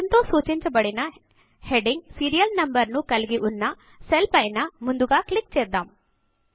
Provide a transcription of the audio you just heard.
స్న్ తో సూచించబడిన heading serial number ను కలిగి ఉన్న సెల్ పైన ముందుగా క్లిక్ చేద్దాము